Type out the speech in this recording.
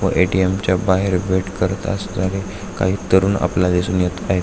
व ए.टी.एम. च्या बाहेर भेट करत असणारे काही तरुण आपल्याला दिसून येत आहे.